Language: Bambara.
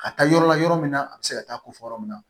Ka taa yɔrɔ la yɔrɔ min na a bɛ se ka taa ko fɔ yɔrɔ min na